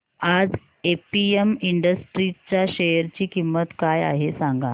आज APM industries च्या share ची किंमत काय आहे सांगा